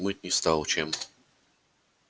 мыть не стал чем